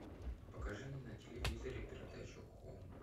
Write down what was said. покажи мне на телевизоре передачу хоум